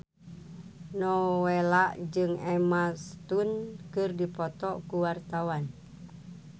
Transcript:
Nowela jeung Emma Stone keur dipoto ku wartawan